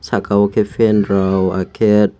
saka o ke fan rok ahket.